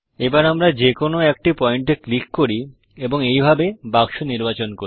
এবার আমরা যে কোনো একটা পয়েন্ট এ ক্লিক করি এবং এইভাবে বাক্স নির্বাচন করি